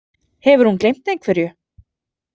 Hefur hún gleymt einhverju?